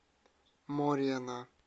морена